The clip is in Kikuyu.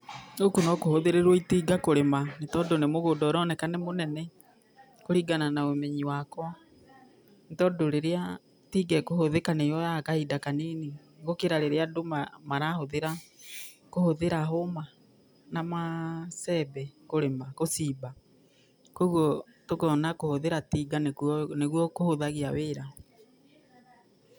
Gũkũ no kũhũthĩrirwo tinga kũrĩma, nĩ tondũ nĩ mũgũnda ũroneka nĩ mũnene kũringana na ũmenyi wakwa, nĩ tondũ rĩrĩa tinga ĩkũhũthĩka nĩyoyaga kahinda kanini gũkĩra rĩrĩa andũ marahũthĩra kũhũthĩra hũũma na macembe kũrĩma, gũcimba, kwoguo tũkona kũhũthĩra tinga nĩkuo kũhũthagia wĩra.